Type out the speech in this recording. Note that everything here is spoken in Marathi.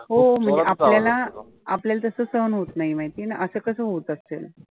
हो आपल्याला आपल्याला तसं होतं नाही माहितीये ना असं कसं होतं असेल.